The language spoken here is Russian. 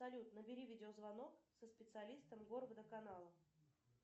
салют набери видео звонок со специалистом горводоканала